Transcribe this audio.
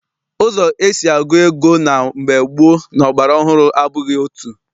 Ụzọ esi agụ ego na mgbe gboo na ọgbara ọhụrụ abụghị otu.